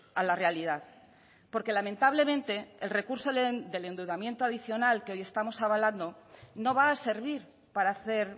a la realidad porque lamentablemente el recurso del endeudamiento adicional que hoy estamos avalando no va a servir para hacer